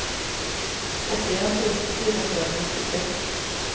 åttien tusen fire hundre og trettitre